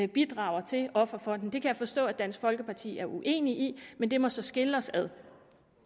bidrager til offerfonden det kan jeg forstå at dansk folkeparti er uenig i men det må så skille os ad